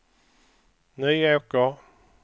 Nyåker